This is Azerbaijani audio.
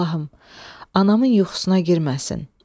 Allahım, anamın yuxusuna girməsin.